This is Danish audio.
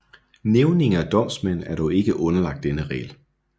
Nævninge og domsmænd er dog ikke underlagt denne regel